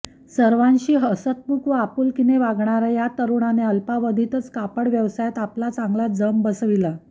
सर्वांशी हसतमुख व आपुलकीने वागणाऱ्या या तरुणाने अल्पावधीतच कापड व्यवसायात आपला चांगलाच जम बसविला